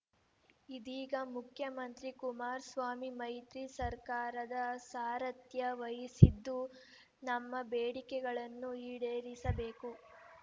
ಇದೀಗ ಮುಖ್ಯಮಂತ್ರಿ ಕುಮಾರಸ್ವಾಮಿ ಮೈತ್ರಿ ಸರ್ಕಾರದ ಸಾರಥ್ಯ ವಹಿಸಿದ್ದು ನಮ್ಮ ಬೇಡಿಕೆಗಳನ್ನು ಈಡೇರಿಸಬೇಕು